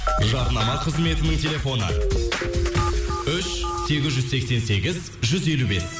жарнама қызметінің телефоны үш сегіз жүз сексен сегіз жүз елу бес